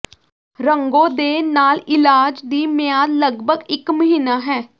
ਰੰਗੋ ਦੇ ਨਾਲ ਇਲਾਜ ਦੀ ਮਿਆਦ ਲਗਭਗ ਇਕ ਮਹੀਨਾ ਹੈ